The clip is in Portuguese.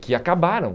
Que acabaram.